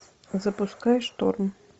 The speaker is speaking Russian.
запускай шторм